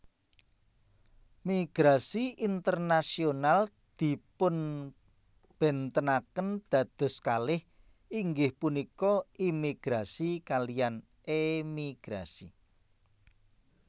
Migrasi internasional dipunbéntenaken dados kalih inggih punika imigrasi kaliyan èmigrasi